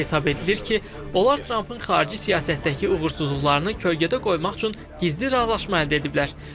Hesab edilir ki, onlar Trampın xarici siyasətdəki uğursuzluqlarını kölgədə qoymaq üçün gizli razılaşma əldə ediblər.